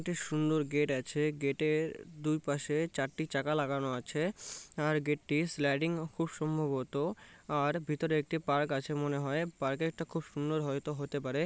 একটি সুন্দর গেট আছে। গেট এর দুই পাশে চারটি চাকা লাগানো আছে। আর গেট টি স্লাইডিং খুব সম্ভবত আর ভিতর একটি পার্ক আছে মনে হয়। পার্ক এ একটা খুব সুন্দর হয়তো হতে পারে।